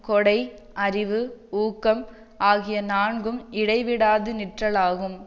கொடை அறிவு ஊக்கம் ஆகிய நான்கும் இடைவிடாது நிற்றலாகும்